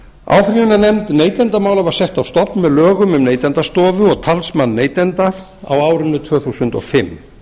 áfrýjunarnefnd neytendamála var sett á stofn með lögum um neytendastofu og talsmann neytenda á árinu tvö þúsund og fimm